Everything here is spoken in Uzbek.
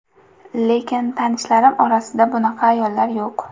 Lekin tanishlarim orasida bunaqa ayollar yo‘q.